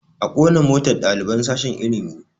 A ƙona motar ɗaliban sashen ilimi